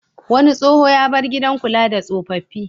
Wani tsoho ya bar gidan kula da tsofaffi.